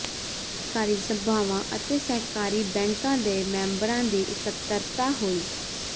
ਸਹਿਕਾਰੀ ਸਭਾਵਾਂ ਅਤੇ ਸਹਿਕਾਰੀ ਬੈਂਕ ਦੇ ਮੈਂਬਰਾਂ ਦੀ ਇਕੱਤਰਤਾ ਹੋਈ